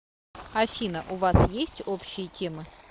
афина у вас есть общие темы